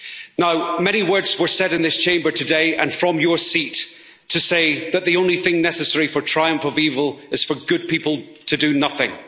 Now, many words were said in this Chamber today and from your seat to say that the only thing necessary for the triumph of evil is for good people to do nothing.